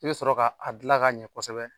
I bɛ sɔrɔ ka a dilan ka ɲɛ kosɛbɛ